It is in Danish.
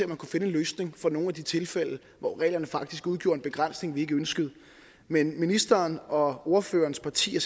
man kunne finde en løsning for nogle af de tilfælde hvor reglerne faktisk udgjorde en begrænsning vi ikke ønskede men ministeren og ordførerens parti er